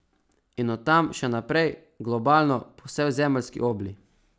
In od tam še naprej, globalno, po vsej zemeljski obli.